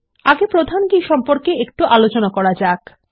আগে প্রধান কী সম্পর্কে একটু আলোচনা করা যাক